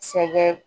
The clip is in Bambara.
Sɛgɛn